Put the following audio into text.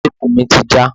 Téèpù mi ti já.